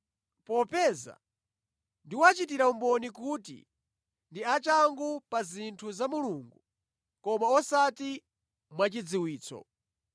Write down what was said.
Popeza ndiwachitira umboni kuti ndi achangu pa zinthu za Mulungu koma osati mwachidziwitso.